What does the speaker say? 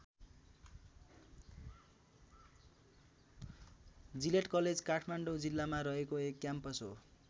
Gillette college Kathmandu जिल्लामा रहेको एक क्याम्पस हो।